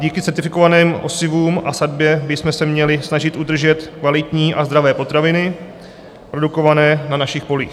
Díky certifikovaným osivům a sadbě bychom se měli snažit udržet kvalitní a zdravé potraviny produkované na našich polích.